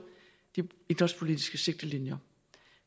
de idrætspolitiske sigtelinjer